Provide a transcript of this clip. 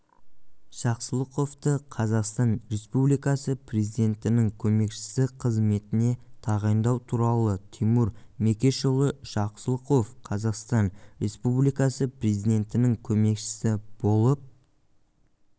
жақсылықовты қазақстан республикасы президентінің көмекшісі қызметіне тағайындау туралы тимур мекешұлы жақсылықов қазақстан республикасы президентінің көмекшісі болып